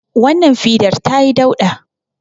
Wannan fidar ta yi dauɗa